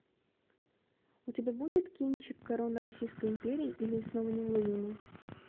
у тебя будет кинчик корона российской империи или снова неуловимые